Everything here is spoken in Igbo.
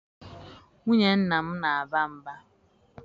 Nwunye nna m na-aba mba